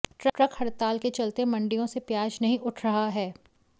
truck हड़ताल के चलते मंडियों से प्याज नहीं उठ रहा है